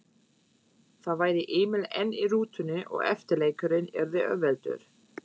Þá væri Emil enn í rútunni og eftirleikurinn yrði auðveldur.